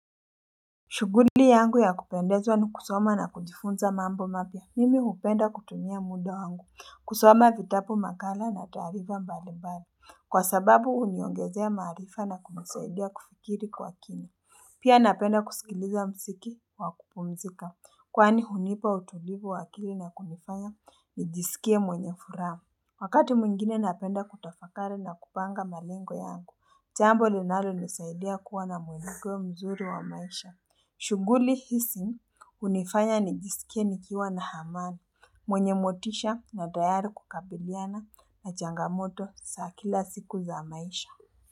Shuguli yangu ya kupendezwa ni kusoma na kujifunza mambo mapya mimi hupenda kutumia muda wangu kusoma vitapu makala na taarifa mbali mbali Kwa sababu huniongezea maarifa na kunisaidia kufikiri kwa kini pia napenda kusikiliza msiki wa kupumzika kwani hunipa utulivu wa akili na kunifanya nijisikie mwenye furaha Wakati mwingine napenda kutafakari na kupanga malengo yangu, jambo linalo nisaidia kuwa na mwenigo mzuri wa maisha. Shuguli hisi unifanya nijisikie nikiwa na hamanu, mwenye motisha na tayari kukabiliana na changamoto saa kila siku za maisha.